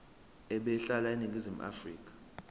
ebehlala eningizimu afrika